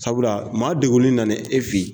Sabula maa degunen nane e fɛn ye.